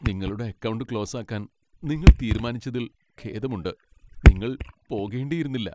നിങ്ങളുടെ അക്കൗണ്ട് ക്ലോസാക്കാൻ നിങ്ങൾ തീരുമാനിച്ചതിൽ ഖേദമുണ്ട്. നിങ്ങൾ പോകേണ്ടിയിരുന്നില്ല.